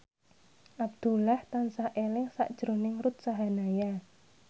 Abdullah tansah eling sakjroning Ruth Sahanaya